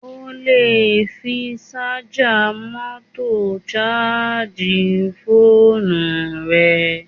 O lè fi sájà mọ́tò sáàjì fóònù rẹ